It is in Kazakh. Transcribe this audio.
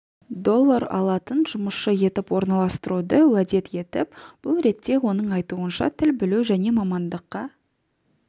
доллар алатын жұмысшы етіп орналастыруды уәдет етіп бұл ретте оның айтуынша тіл білу және мамандыққа